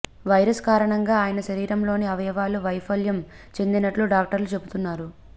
virus కారణంగా ఆయన శరీరంలోని అవయవాలు వైఫల్యం చెందినట్లుగా డాక్టర్లు చెబుతున్నారు